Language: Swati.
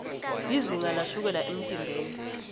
lizinga lashukela emtimbeni